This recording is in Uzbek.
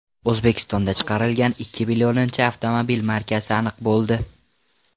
O‘zbekistonda chiqarilgan ikki millioninchi avtomobil markasi aniq bo‘ldi.